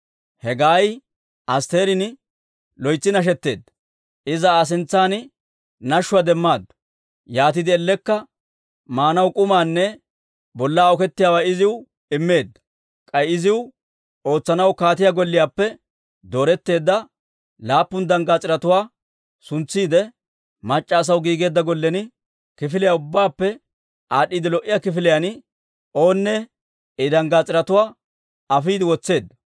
Hegaayi Asttirin, loytsi nashetteedda; iza Aa sintsan nashshuwaa demaaddu. Yaatiide ellekka maanaw k'umaanne bollaa okettiyaawaa iziw immeedda. K'ay iziw ootsanaw kaatiyaa golliyaappe dooretteedda laappun danggaas'iretuwaa suntsiide, mac'c'a asaw giigeedda gollen, kifiliyaa ubbaappe aad'd'iide lo"iyaa kifiliyaan oonne I danggaas'iretuwaa afiide wotseedda.